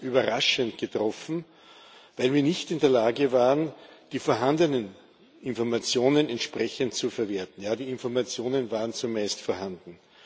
Sie haben uns überraschend getroffen, weil wir nicht in der Lage waren, die vorhandenen Informationen entsprechend zu verwerten. Ja, die Informationen waren zumindest vorhanden.